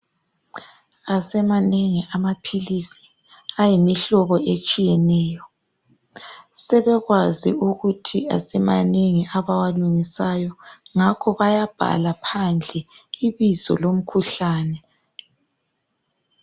Asemanengi amaphilisi ayimihlobo etshiyeneyo sebekwazi ukuthi asemanengi abawalungisayo ngakho bayabhala phandle ibizo lomkhuhlane.